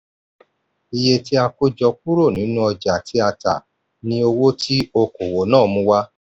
iye tí a kó jọ kúrò nínú ọjà tí a tà ni owó tí okòwò náà mú wá.